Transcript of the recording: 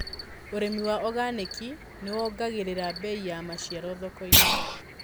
ũrĩmi wa organiki nĩwongagĩrira bei ya maciaro thokoinĩ.